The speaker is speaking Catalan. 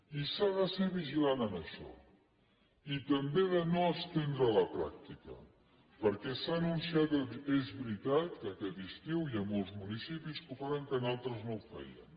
i s’ha de ser vigilant en això i també de no estendre la pràctica perquè s’ha anunciat és veritat que aquest estiu hi ha molts municipis que ho faran que en altres no ho feien